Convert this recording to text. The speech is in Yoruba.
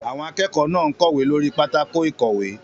Àwọn akẹ́kọ̀ọ́ náà ń kọ̀wé lórí pátákó ìkọ̀wé.